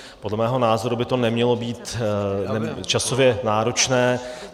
Podle mého názoru by to nemělo být časově náročné.